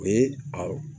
O ye a